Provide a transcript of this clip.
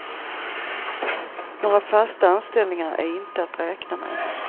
Några fasta anställningar är inte att räkna med.